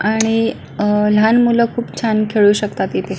आणि अह लहान मुल खुप छान खेळू शकतात इथे.